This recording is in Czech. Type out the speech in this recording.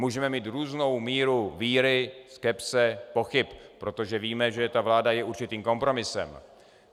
Můžeme mít různou míru víry, skepse, pochyb, protože víme, že ta vláda je určitým kompromisem.